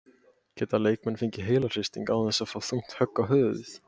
Geta leikmenn fengið heilahristing án þess að fá þungt högg á höfuðið?